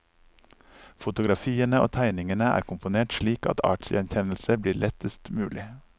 Fotografiene og tegningene er komponert slik at artsgjenkjennelse blir lettest mulig.